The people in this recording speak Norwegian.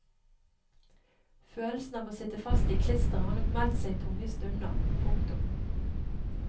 Følelsen av å sitte fast i klisteret har nok meldt seg i tunge stunder. punktum